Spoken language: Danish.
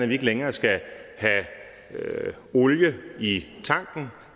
vi ikke længere skal have olie i tanken